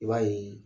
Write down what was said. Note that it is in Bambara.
I b'a ye